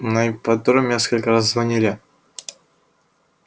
на ипподроме несколько раз звонили